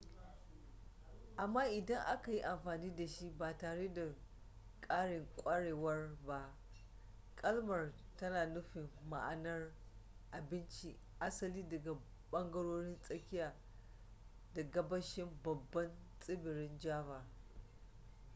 amma idan aka yi amfani da shi ba tare da ƙarin ƙwarewar ba kalmar tana nufin ma'anar abinci asali daga ɓangarorin tsakiya da gabashin babban tsibirin java